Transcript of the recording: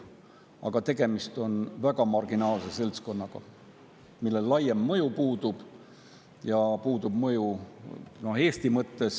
Aga tegemist on marginaalse seltskonnaga, kellel laiem mõju puudub ja puudub mõju Eesti mõttes.